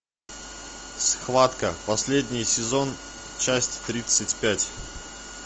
схватка последний сезон часть тридцать пять